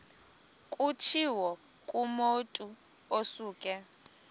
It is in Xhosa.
kutshiwo kumotu osuke